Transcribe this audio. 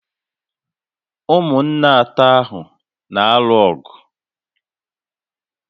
Ụmụnna atọ ahụ na-alụ ọgụ